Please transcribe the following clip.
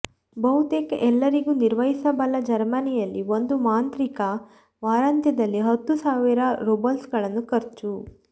ಬಹುತೇಕ ಎಲ್ಲರಿಗೂ ನಿರ್ವಹಿಸಬಲ್ಲ ಜರ್ಮನಿಯಲ್ಲಿ ಒಂದು ಮಾಂತ್ರಿಕ ವಾರಾಂತ್ಯದಲ್ಲಿ ಹತ್ತು ಸಾವಿರ ರೂಬಲ್ಸ್ಗಳನ್ನು ಖರ್ಚು